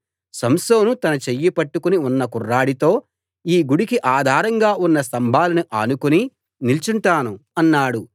సంసోను తన చెయ్యి పట్టుకుని ఉన్న కుర్రాడితో ఈ గుడికి ఆధారంగా ఉన్న స్తంభాలను ఆనుకుని నిల్చుంటాను అన్నాడు